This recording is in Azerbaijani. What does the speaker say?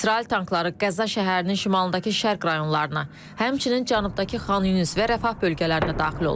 İsrail tankları Qəza şəhərinin şimalındakı şərq rayonlarına, həmçinin cənubdakı Xan Yunus və Rəfah bölgələrinə daxil olub.